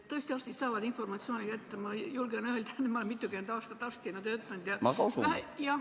Tõesti, arstid saavad informatsiooni kätte, ma julgen seda öelda, sest olen mitukümmend aastat arstina töötanud.